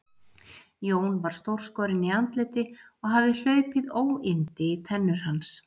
Jón var stórskorinn í andliti og hafði hlaupið óyndi í tennur hans.